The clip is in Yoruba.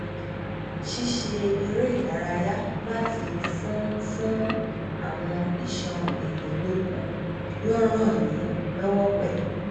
ṣíṣe eré ìdárayá láti fún fún awọn iṣan ẹyìn lókun yóò ran yín lọwọ pẹlú